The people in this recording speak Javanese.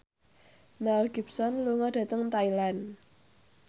Mel Gibson lunga dhateng Thailand